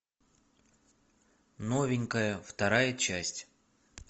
новенькая вторая часть